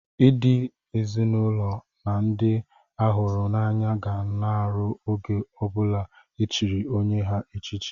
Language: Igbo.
Ndị ezinụlọ na ndị a hụrụ n'anya ga ṅụrịa n'oge ọbụla e chiri onye ha echichi.